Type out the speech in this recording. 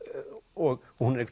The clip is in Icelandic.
og hún er